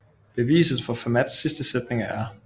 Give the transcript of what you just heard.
Beviset for Fermats sidste sætning af R